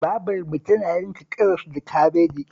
Babarmu tana yanka karas da kabeji